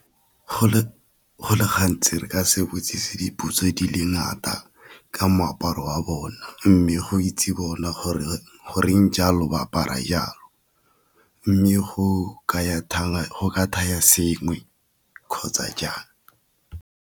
Go le gantsi re ka se botsisi dipotso di le ngata ka moaparo wa bona, mme go itse bona gore goreng jalo ba apara jalo, mme go ka thaya sengwe kgotsa jang.